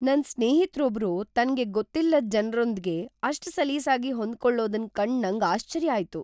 ನನ್ ಸ್ನೇಹಿತರೊಬ್ರು ತನ್ಗೆ ಗೊತ್ತಿಲ್ಲದ್ ಜನರೊಂದ್ಗೆ ಅಷ್ಟ್ ಸಲೀಸಾಗಿ ಹೊಂದಿಕೊಳ್ಳೋದನ್ ಕಂಡ್ ನಂಗ್ ಆಶ್ಚರ್ಯ ಆಯ್ತು.